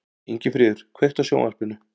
Ingifríður, kveiktu á sjónvarpinu.